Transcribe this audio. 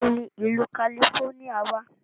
Níbo ni ìlú kalifóníà wà?